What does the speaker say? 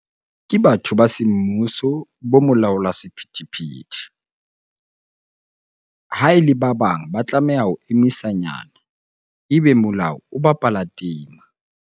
Ke batho ba semmuso, bo molaola sephethephethe. Ha e le ba bang ba tlameha ho emisa nyana ebe molao o bapala tema.